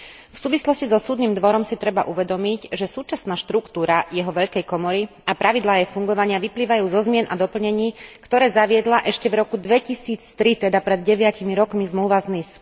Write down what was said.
V súvislosti so Súdnym dvorom si treba uvedomiť, že súčasná štruktúra jeho Veľkej komory a pravidlá jej fungovania vyplývajú zo zmien a doplnení, ktoré zaviedla ešte v roku 2003, teda pred deviatimi rokmi, Zmluva z Nice.